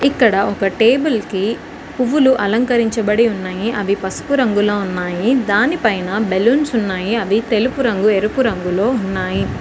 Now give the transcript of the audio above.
ఇక్కడ ఒక టేబుల్ కి పువ్వులు అలంకరించబడి ఉన్నాయి అవి పసుపు రంగులో ఉన్నాయి దానిపైన బెలూన్స్ ఉన్నాయి అవి తెలుపు రంగు ఎరుపు రంగులో ఉన్నాయి.